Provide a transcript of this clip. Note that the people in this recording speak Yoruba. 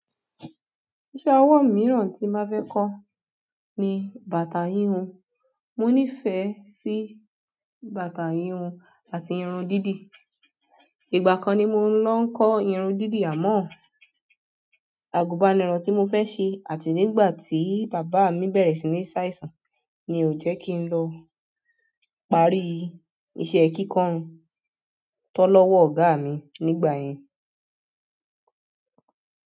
Iṣẹ́ ọwọ́ mìíràn tí n ba fẹ́ kọ́ ni bàtà híhun. Mo nífẹ̀ẹ́ sí bàtà híhun àti irun dídì. Ìgbà kan ni mo lọ n ko irun didi, amọ àgùbánirọ̀ tí mo fẹ́ ṣe àti nígbà tí bàbá mi bẹ̀rẹ̀ sí ní ṣàìsàn ni ò jẹ́ kí n lọ parí iṣẹ́ kíkọ́ irun tan lọ́wọ́ ọ̀gá mi nígbà yẹn.